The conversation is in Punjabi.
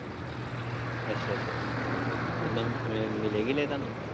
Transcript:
ਅੱਛਾ ਅੱਛਾ ਆੱਛਾ ਹਮ ਇੱਦਾਂ ਦੀ ਮਿਲੇ ਕਿਤੇ ਤੁਹਾਨੂੰ।